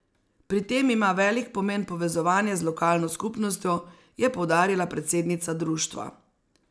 Pri tem ima velik pomen povezovanje z lokalno skupnostjo, je poudarila predsednica društva.